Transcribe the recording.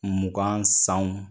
Mugan sanw